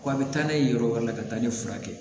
Ko a bɛ taa n'a ye yɔrɔ wɛrɛ la ka taa ne furakɛ